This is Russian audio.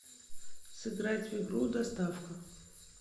сыграть в игру доставка